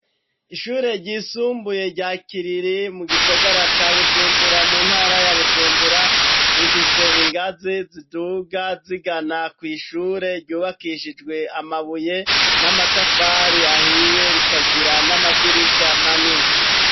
Ishure ryisumbuye ryakiriri mu gisagara ca Bujumbura mu ntara ya Bujumbura, rifise ingazi ziduga zigana ku ishure ryubakishijwe amabuye n'amatafari ahiye rikagira n'amadirisha manini.